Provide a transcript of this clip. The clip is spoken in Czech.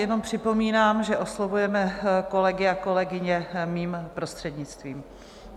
Jenom připomínám, že oslovujeme kolegy a kolegyně mým prostřednictvím.